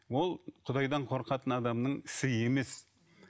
ол құдайдан қорқатын адамның ісі емес